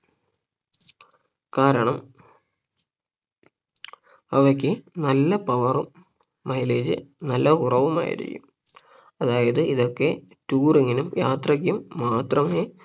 കാരണം അവയ്ക്ക് നല്ല power ഉം mileage നല്ല കുറവുമായിരിക്കും അതായത് ഇതൊക്കെ Touring നും യാത്രക്കും മാത്രമേ